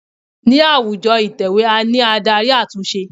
Ní àwùjọ ìtẹ̀wẹ́ a ní Ádárì àtúnṣe.